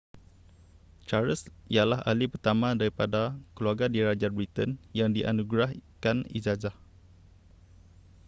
charles ialah ahli pertama daripada keluarga diraja britain yang dianugerahkan ijazah